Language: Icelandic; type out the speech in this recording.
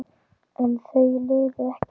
En þau liðu ekki hjá.